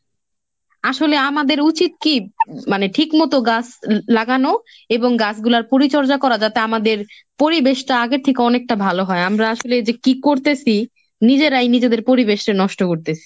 আসলে আমাদের উচিত কি? মানে ঠিক মতো গাছ লাগানো এবং গাছগুলার পরিচর্যা করা যাতে আমাদের পরিবেশটা আগের থেকে অনেকটা ভালো হয়। আমরা আসলে যে কি করতেসি নিজেরাই নিজেদের পরিবেশটা নষ্ট করতেসি।